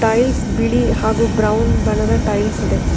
Tiles ಬಿಳಿ ಹಾಗೂ brown ಬಣ್ಣದ ಟೈಲ್ಸ್ ಇದೆ.